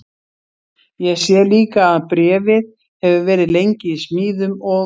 Ég sé líka að bréfið hefur verið lengi í smíðum og